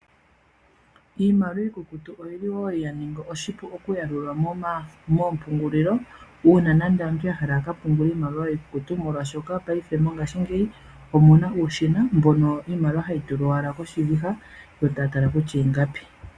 Iimaliwa iikukutu oli wo yaningi oshipu okuya lulwa moompungulilo uuna nando aantu yahala yaka pungule iimaliwa yiikukutu molwasho paife , mongashingeyi omuna uushina mboka hono iimaliwa hayi tulwa owala koshiviha yotatala kutya ingapi.